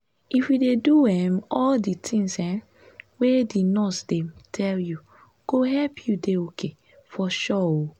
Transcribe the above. if you dey do um all di tins um wey di nurses dem tell you go help u dey ok for sure um